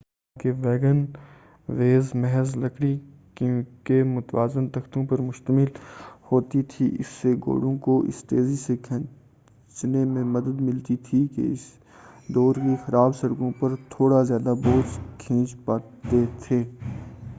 حالانکہ wagonways محض لکڑی کے متوازی تختوں پر مشتمل ہوتی تھی اس سے گھوڑوں کو اسے تیزی سے کھینچنے میں مدد ملتی تھی اور اس دور کی خراب سڑکوں پر تھوڑا زیادہ بوجھ کھینچ پاتے تھے